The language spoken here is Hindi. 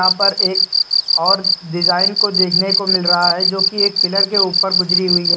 यहां पर एक और डिजाइन को देखने को मिल रहा है जो कि एक पिलर के ऊपर गुजरी हुई है।